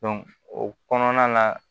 o kɔnɔna la